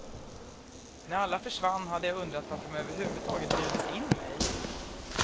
När alla försvann hade jag undrat varför de överhuvudtaget bjudit in mig.